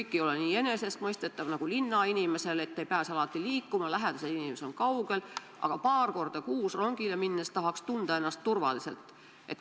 Maal ei ole kõik nii enesestmõistetav nagu linnainimesel – ei pääse alati liikuma, lähedased inimesed on kaugel, ja paar korda kuus rongiga sõites tahaks ennast turvaliselt tunda.